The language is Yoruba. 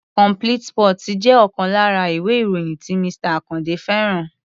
Complete sports jẹ́ ọ̀kan lára ìwé-ìròyìn tí Mr. Àkàndé fẹ́ràn.